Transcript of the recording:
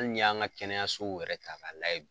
Ali n'i y'an ka kɛnɛyasow yɛrɛ ta k'a layɛ.